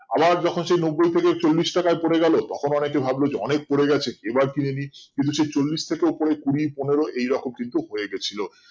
আবার যখন সে নব্বই থেকে চল্লিশ টাকায় পরে গেলো তখন অনেকে ভাবলো যে অনেক পরে গেছে এবার কিনে নি কিন্তু সেই চল্লিশ থেকে উপরে কুড়ি পনেরো এইরকম কিন্তু হয়ে গেছিলো